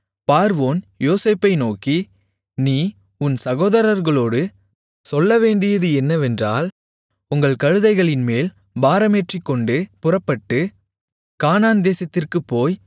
பார்வோன் யோசேப்பை நோக்கி நீ உன் சகோதரர்களோடு சொல்லவேண்டியது என்னவென்றால் உங்கள் கழுதைகளின்மேல் பாரமேற்றிக்கொண்டு புறப்பட்டு கானான்தேசத்திற்குப் போய்